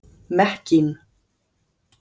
Mekkín